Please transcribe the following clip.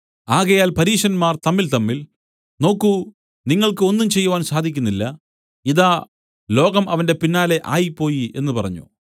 ആകയാൽ പരീശന്മാർ തമ്മിൽതമ്മിൽ നോക്കു നിങ്ങൾക്ക് ഒന്നും ചെയ്യുവാൻ സാധിക്കുന്നില്ല ഇതാ ലോകം അവന്റെ പിന്നാലെ ആയിപ്പോയി എന്നു പറഞ്ഞു